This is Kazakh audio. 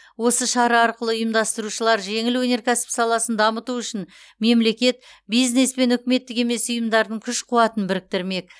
осы шара арқылы ұйымдастырушылар жеңіл өнеркәсіп саласын дамыту үшін мемлекет бизнес пен үкіметтік емес ұйымдардың күш қуатын біріктірмек